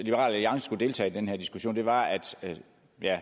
liberal alliance skulle deltage i den her diskussion var at